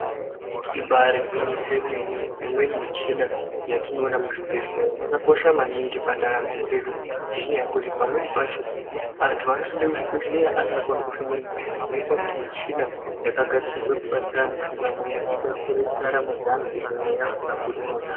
Ibari gwinyiso remene imweni michina yatinoona muzvibhedhlera yakakosha maningi pandaramo dzedu ngenyaya yekuti pamweni pacho antu anoenda kuzvibhedhlera asingakoni kufema mweya zvinoita kuti michina yakagadzirwa kubatsira anhu kufema mweya ibatsire mundaramo dzeantu kuti mweya isabuda monamo.